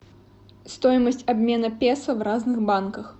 стоимость обмена песо в разных банках